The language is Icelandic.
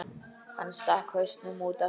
Hann stakk hausnum út aftur.